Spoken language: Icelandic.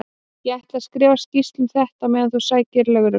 Ég ætla að skrifa skýrslu um þetta á meðan þú sækir lögregluna.